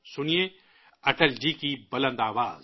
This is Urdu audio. سنئے، اٹل جی کی بارعب آواز